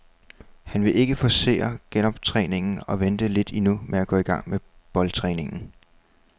Han vil ikke forcere genoptræningen og venter lidt endnu med at gå i gang med boldtræningen.